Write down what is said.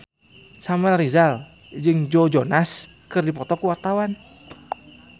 Samuel Rizal jeung Joe Jonas keur dipoto ku wartawan